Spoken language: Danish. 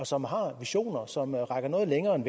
som har visioner som rækker noget længere end